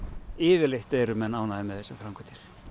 yfirleitt eru menn mjög ánægðir með þessar framkvæmdir